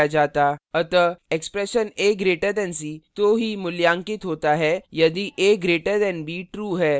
अतः expression a> c तो ही का मूल्यांकित होता है यदि a> b true है